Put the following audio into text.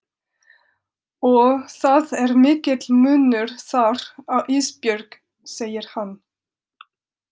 Og það er mikill munur þar á Ísbjörg, segir hann.